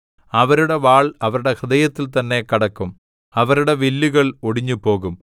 അവരുടെ വാൾ അവരുടെ ഹൃദയത്തിൽ തന്നെ കടക്കും അവരുടെ വില്ലുകൾ ഒടിഞ്ഞുപോകും